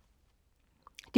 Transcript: DR K